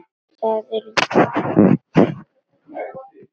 Í það er bundið snæri.